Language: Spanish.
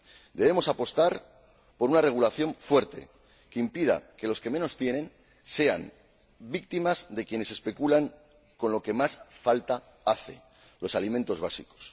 Debemos apostar por una regulación fuerte que impida que los que menos tienen sean víctimas de quienes especulan con lo que más falta hace, los alimentos básicos.